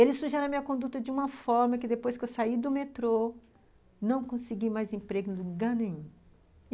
Ele sugeriu a minha conduta de uma forma que depois que eu saí do metrô, não consegui mais emprego em lugar nenhum.